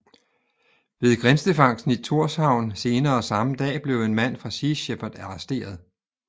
Ved grindefangsten i Tórshavn senere samme dag blev en mand fra Sea Shepherd arresteret